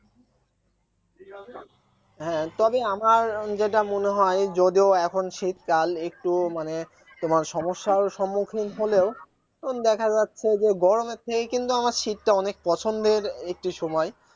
হ্যাঁ তবে আমার যেটা মনে হয় যদিও এখন শীতকাল একটু মানে তোমার সমস্যার সম্মুখীন হলেও তখন দেখা যাচ্ছে যে গরমের থেকে কিন্তু আমার শীতটা অনেক পছন্দের একটি সময়